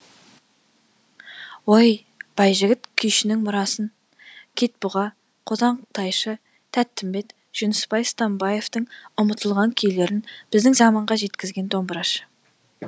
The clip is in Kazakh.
ой байжігіт күйшінің мұрасын кет бұға қотан тайшы тәттімбет жүнісбай стамбаевтың ұмытылған күйлерін біздің заманға жеткізген домбырашы